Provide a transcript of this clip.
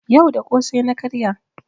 Yau da ƙosai na karya.